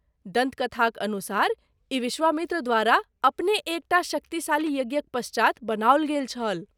दन्तकथाक अनुसार, ई विश्वामित्र द्वारा अपने एक टा शक्तिशाली यज्ञक पश्चात बनाओल गेल छल।